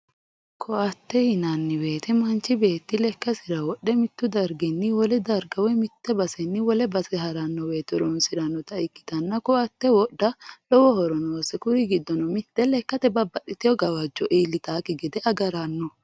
ko"atte yinanni woyiite manchi beetti lekkasira wodhe mittu darginni wole darga woy mitte basenni wole base haranno woyte horoonsirannota ikkitanna ko"atte wodha lowo horo noose kuri giddono mitte lekkate babbaxxitewoo gawajjo iillitannokki gede agaranno.